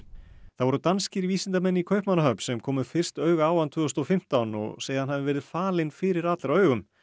það voru danskir vísindamenn í Kaupmannahöfn sem komu fyrst auga á hann tvö þúsund og fimmtán og segja að hann hafi verið falinn fyrir allra augum